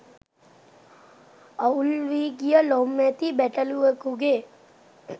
අවුල් වී ගිය ලොම් ඇති බැටළුවෙකුගේ